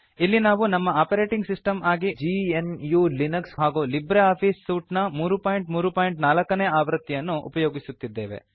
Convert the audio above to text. ಇಲ್ಲಿ ನಾವು ನಮ್ಮ ಆಪರೇಟಿಂಗ್ ಸಿಸ್ಟಮ್ ಆಗಿ ಜಿಎನ್ಯು ಲಿನಕ್ಸ್ ಹಾಗೂ ಲಿಬ್ರೆ ಆಫೀಸ್ ಸೂಟ್ ನ 334 ನೇ ಆವೃತ್ತಿಯನ್ನು ಉಪಯೋಗಿಸುತ್ತಿದ್ದೇವೆ